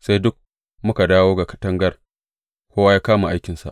sai duk muka dawo ga katangar, kowa ya kama aikinsa.